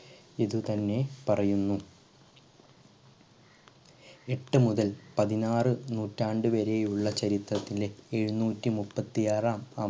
ഇതുതന്നെ പറയുന്നു എട്ടുമുതൽ പതിനാറ് നൂറ്റാണ്ട് വരെ ഉള്ള ചരിത്രത്തിലെ എഴുത്തനൂറ്റി മുപ്പത്തി ആറാം